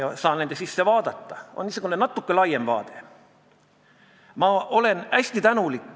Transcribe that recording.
Ütle mulle, palun, eesti keele kaitsja, miks ühtegi sõna eesti keeles ei ole nendel loosungitel ja bänneritel, kogu sellel kraamil, mida sinna kaasa võetakse?